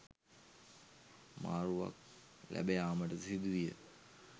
මාරුවක් ලැබ යාමටද සිදුවිය.